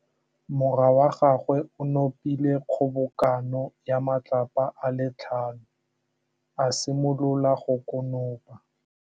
Morwa wa gagwe o nopile kgobokanô ya matlapa a le tlhano, a simolola go konopa.